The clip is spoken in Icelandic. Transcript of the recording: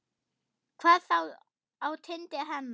Hvað þá á tindi hennar.